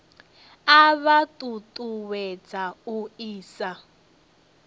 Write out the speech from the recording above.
a vha ṱuṱuwedza u isa